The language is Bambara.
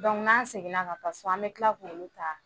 n'an seginna ka taa so an bɛ tila k'olu ta